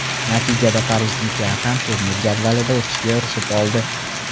Natijada parijliklar ham turnir jadvalida o‘sishga erishib oldi.